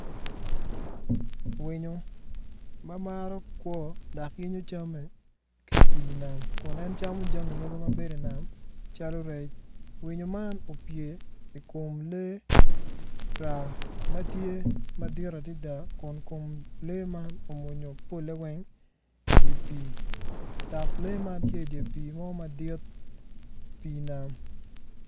Winyo ma maro kwo dok yenyo camme ki ipii nam kun en camo jami mogo ma bedo i nam calo rec winyo man opye i kom lee raa ma tye madit adada kun lee man omwonyo polle weng idye pii dog lee man dye pii mo madit pii nam.